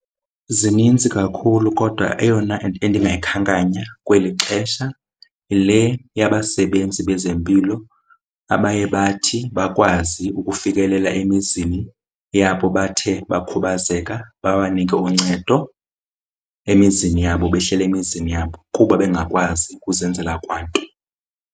Zinintsi kakhulu kodwa eyona endingayikhankanya kweli xesha le yabasebenzi bezempilo abaye bathi bakwazi ukufikelela emizini yabo bathe bakhubazeka, babanike uncedo emizini yabo behleli emizini yabo kuba bengakwazi ukuzenzela kwanto.